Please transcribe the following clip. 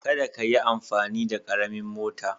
Kada ka yi amfani da karamin mota